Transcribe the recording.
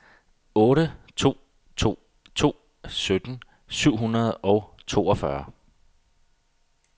otte to to to sytten syv hundrede og toogfyrre